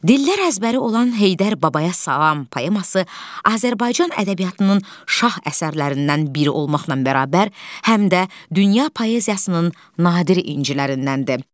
Dillər əzbəri olan Heydər babaya salam poeması Azərbaycan ədəbiyyatının şah əsərlərindən biri olmaqla bərabər, həm də dünya poeziyasının nadir incilərindəndir.